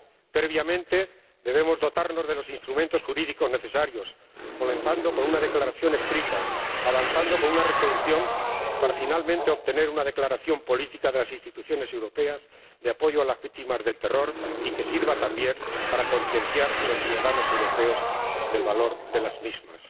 Previamente, debemos dotarnos de los instrumentos jurídicos necesarios, comenzando con una declaración escrita, avanzando con una resolución, para finalmente obtener una declaración política de las Instituciones europeas de apoyo a las víctimas del terror, y que sirva también para concienciar a los ciudadanos europeos del valor de las mismas.